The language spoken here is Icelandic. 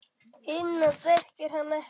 Hina þekkir hann ekki.